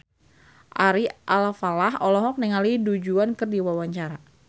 Ari Alfalah olohok ningali Du Juan keur diwawancara